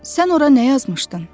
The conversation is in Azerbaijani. Sən ora nə yazmışdın?